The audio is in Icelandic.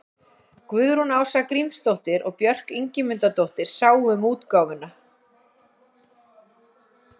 Guðrún Ása Grímsdóttir og Björk Ingimundardóttir sáu um útgáfuna.